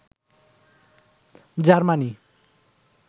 Germany